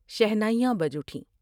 شہنائیاں بچ اٹھیں ۔